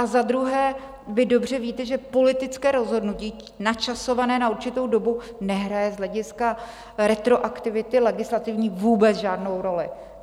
A za druhé, vy dobře víte, že politické rozhodnutí načasované na určitou dobu nehraje z hlediska retroaktivity legislativní vůbec žádnou roli.